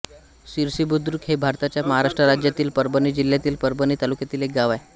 सिरसीबुद्रुक हे भारताच्या महाराष्ट्र राज्यातील परभणी जिल्ह्यातील परभणी तालुक्यातील एक गाव आहे